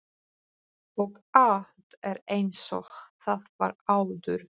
Og allt er einsog það var áður.